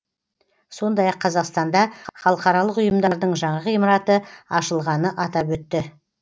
сондай ақ қазақстанда халықаралық ұйымдардың жаңа ғимараты ашылғанын атап өтті